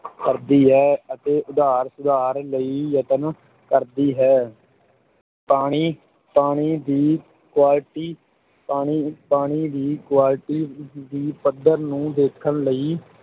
ਕਰਦੀ ਹੈ ਅਤੇ ਉਧਾਰ ਸੁਧਾਰ ਲਈ ਯਤਨ ਕਰਦੀ ਹੈ ਪਾਣੀ ਪਾਣੀ ਦੀ quality ਪਾਣੀ ਪਾਣੀ ਦੀ quality ਦੀ ਪੱਧਰ ਨੂੰ ਦੇਖਣ ਲਈ